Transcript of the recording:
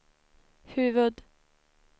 huvud-